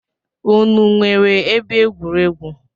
Unu nwere ebe egwuregwu?